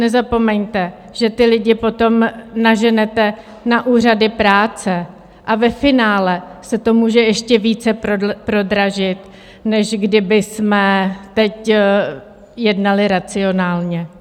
Nezapomeňte, že ty lidi potom naženete na úřady práce a ve finále se to může ještě více prodražit, než kdybychom teď jednali racionálně.